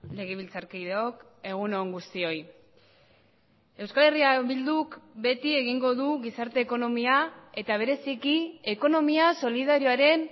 legebiltzarkideok egun on guztioi euskal herria bilduk beti egingo du gizarte ekonomia eta bereziki ekonomia solidarioaren